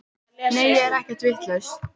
Nei ég er ekkert vitlaus.